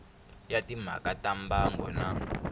ya timhaka ta mbango na